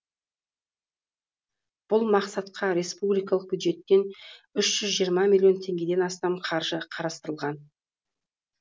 бұл мақсатқа республикалық бюджеттен үш жүз жиырма миллион теңгеден астам қаржы қарастырылған